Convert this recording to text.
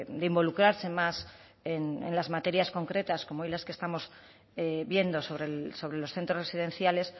de involucrarse más en las materias concretas como hoy las que estamos viendo sobre los centros residenciales